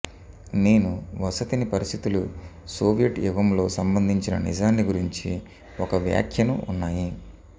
నేను వసతిని పరిస్థితులు సోవియట్ యుగంలో సంబంధించిన నిజాన్ని గురించి ఒక వ్యాఖ్యను ఉన్నాయి